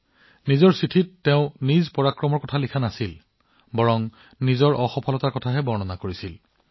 তেওঁৰ পত্ৰখনত বৰুণ সিংজীয়ে তেওঁৰ বীৰত্বৰ বিষয়ে বৰ্ণনা কৰা নাছিল কিন্তু তেওঁৰ বিফলতাৰ কথা কৈছিল